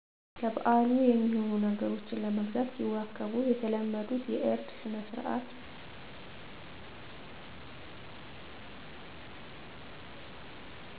ለበአሉ የሚሆኑ ነገሮችን ለመግዛት ሲዋከቡ የተለመዱት የእርድ ስነስርዓት